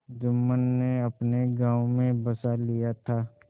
जुम्मन ने अपने गाँव में बसा लिया था